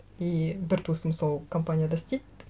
и бір туысым сол компанияда істейді